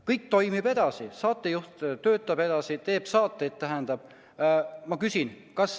Kõik toimib edasi, saatejuht töötab ja teeb saateid.